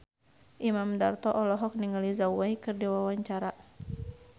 Imam Darto olohok ningali Zhao Wei keur diwawancara